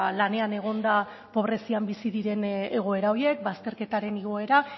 lanean egonda pobrezian bizi diren egoera horiek bazterketaren igoera